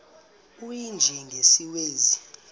u y njengesiwezi